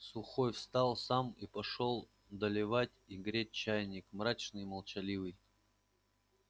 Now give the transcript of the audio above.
сухой встал сам и пошёл доливать и греть чайник мрачный и молчаливый